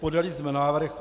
Podali jsme návrh.